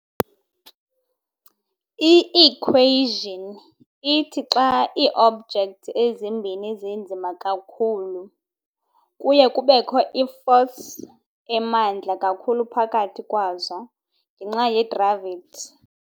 I-equation ithi xa ii-objects ezimbini zinzima kakhulu, kuye kubekho i-force emandla kakhulu phakathi kwazo ngenxa ye-gravity.